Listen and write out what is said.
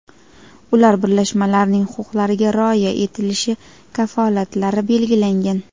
ular birlashmalarining huquqlariga rioya etilishi kafolatlari belgilangan.